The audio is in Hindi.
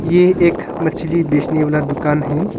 ये एक मछली बेचने वाला दुकान है।